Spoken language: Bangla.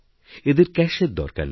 এদের ক্যাশের দরকারনেই